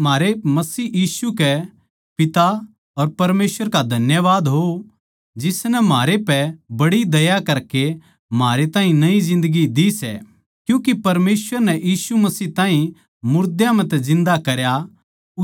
म्हारे मसीह यीशु के पिता अर परमेसवर का धन्यवाद हो जिसनै म्हारे पै बड़ी दया करकै म्हारे ताहीं नई जिन्दगी दी सै क्यूँके परमेसवर नै यीशु मसीह ताहीं मुर्दां म्ह तै जिन्दा करया